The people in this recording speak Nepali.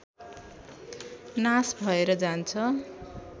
नाश भएर जान्छ